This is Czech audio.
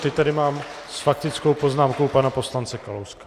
Teď tady mám s faktickou poznámkou pana poslance Kalouska.